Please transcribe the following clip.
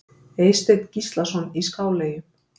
Eysteinn Gíslason í Skáleyjum